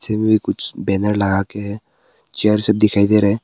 इनमें कुछ बैनर लगा के है चेयर सब दिखाई दे रहा है।